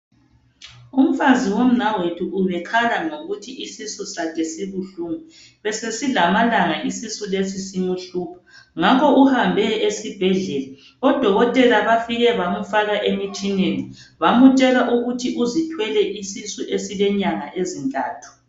Umfazi womnawethu ubekhala ngokuthi isisu sakhe sibuhlungu. Besesilamalanga isisu lesi simhlupha ngakho uhambe esibhedlela , odokotela bafike bamfaka emtshineni bamtshela ukuthi uzithwele isisu esilenyanga ezintathu.